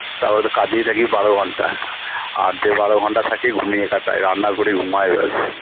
তারপরে তাকিয়ে থাকিবারো ঘন্টা আর যে বারো ঘন্টা থাকি ঘুমিয়ে কাটাই রান্না করি ঘুমাই ব্যাস